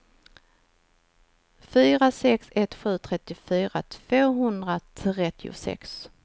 fyra sex ett sju trettiofyra tvåhundratrettiosex